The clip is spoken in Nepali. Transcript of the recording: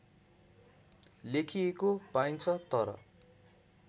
लेखिएको पाइन्छ तर